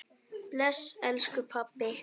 Bless elsku pabbi.